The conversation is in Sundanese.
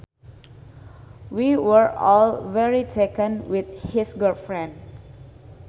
We were all very taken with his girlfriend